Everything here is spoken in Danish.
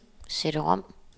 CD-rom